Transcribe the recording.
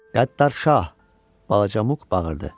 Qəddar şah, balaca Muk bağırdı.